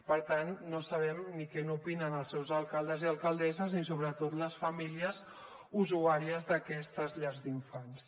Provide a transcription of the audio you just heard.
per tant no sabem ni què n’opinen els seus alcaldes i alcaldesses ni sobretot les famílies usuàries d’aquestes llars d’infants